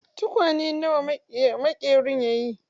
Tukwane na wa maƙerin ya yi?